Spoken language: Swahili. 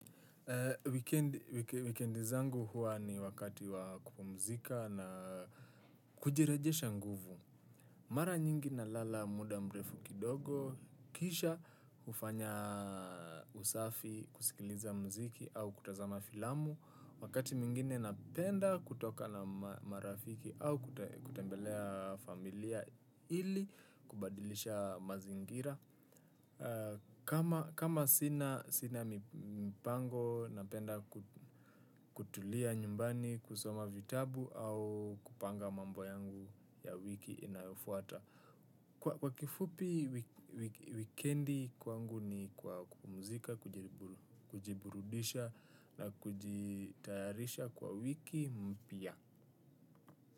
Wikendi zangu huwa ni wakati wa kupumzika na kujirejesha nguvu. Mara nyingi nalala muda mrefu kidogo. Kisha hufanya usafi kusikiliza mziki au kutazama filamu. Wakati mwingine napenda kutoka na marafiki au kutembelea familia ili kubadilisha mazingira. Kama sina mipango napenda kutulia nyumbani kusoma vitabu au kupanga mambo yangu ya wiki inayofuata. Kwa kifupi wikendi kwangu ni kwa kupumzika kujiburudisha na kujitayarisha kwa wiki mpya.